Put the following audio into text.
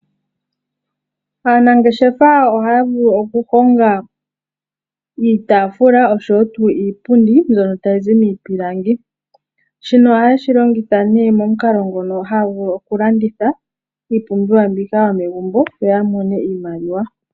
Aanangeshefa ohaya vulu okuhonga iitafula osho woo tuu iipundi mbyono tayi zi miipilangi. Shino ohaye shilongitha nee momukalo nguno hagu landitha iipumbiwa yomegumbo yo yamone iimaliwa.